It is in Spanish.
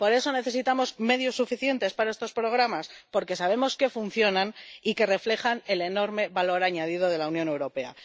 Y por eso necesitamos medios suficientes para estos programas, porque sabemos que funcionan y que reflejan el enorme valor añadido de la Unión Europea.